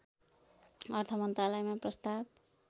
अर्थमन्त्रालयमा प्रस्ताव